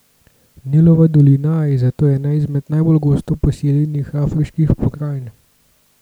Nilova dolina je zato ena izmed najbolj gosto poseljenih afriških pokrajin.